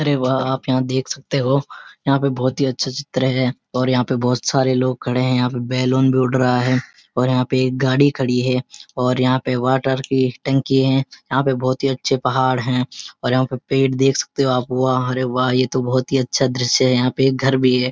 अरे वाह! आप यहाँ देेख सकते हो यहाँ पे बहोत ही अच्छा चित्र है और यहाँ पे बहोत सारे लोग खड़े हैं और यहाँ पे बैलून भी उड़ रहा है और यहाँ पे गाड़ी खड़ी है और यहाँ पे वाटर की टंकी है यहाँ पे बहुत ही अच्‍छे पहाड़ हैं और यहाँ पे पेड़ देख सकते हो आप वाह रे वाह ये तो बहुत ही अच्‍छा दृश्‍य है यहाँ पे एक घर भी है।